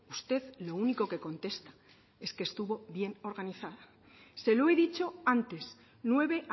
usted lo único que contesta es que estuvo bien organizada se lo he dicho antes nueve